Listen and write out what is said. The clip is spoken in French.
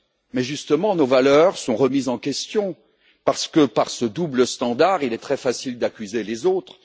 Mais justement, nos valeurs sont remises en question parce que, par ce double standard, il est très facile d'accuser les autres.